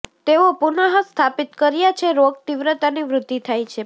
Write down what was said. તેઓ પુનઃસ્થાપિત કર્યા છે રોગ તીવ્રતાની વૃદ્ધિ થાય પછી